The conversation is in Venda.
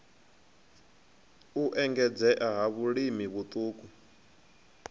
u engedzea ha vhalimi vhaṱuku